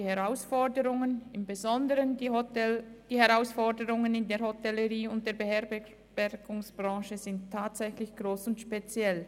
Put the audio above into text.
Die Herausforderungen besonders in der Hotellerie und in der Beherbergungsbranche sind tatsächlich gross und speziell.